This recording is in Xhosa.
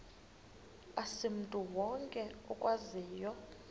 asimntu wonke okwaziyo